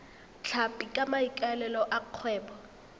tlhapi ka maikaelelo a kgwebo